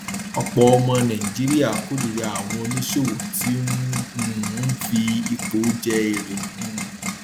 ọpọ ọmọ nàìjíríà kórìíra àwọn oníṣòwò tí um ń fi ipò je èrè um